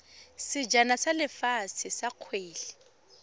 sejana sa lefatshe sa kgwele